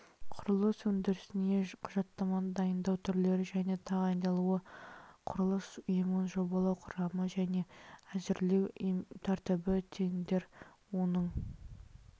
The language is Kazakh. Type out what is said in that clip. құрылыс өндірісіне құжаттаманы дайындау түрлері және тағайындалуы құрылыс ұйымын жобалау құрамы және әзірлеу тәртібі тендер оның